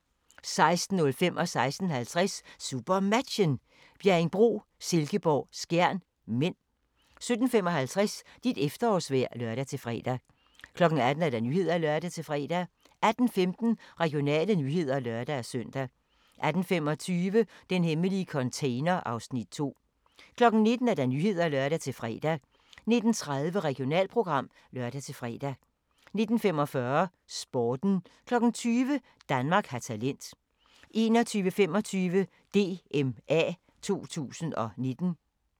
16:50: SuperMatchen: Bjerringbro-Silkeborg - Skjern (m) 17:55: Dit efterårsvejr (lør-fre) 18:00: Nyhederne (lør-fre) 18:15: Regionale nyheder (lør-søn) 18:25: Den hemmelige container (Afs. 2) 19:00: Nyhederne (lør-fre) 19:30: Regionalprogram (lør-fre) 19:45: Sporten 20:00: Danmark har talent 21:25: DMA 2019